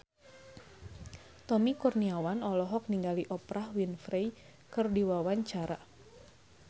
Tommy Kurniawan olohok ningali Oprah Winfrey keur diwawancara